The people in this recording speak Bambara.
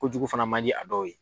Kojugu fana ma di a dɔw ye.